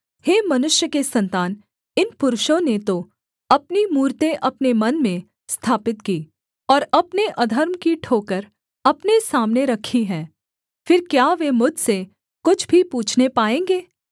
हे मनुष्य के सन्तान इन पुरुषों ने तो अपनी मूरतें अपने मन में स्थापित की और अपने अधर्म की ठोकर अपने सामने रखी है फिर क्या वे मुझसे कुछ भी पूछने पाएँगे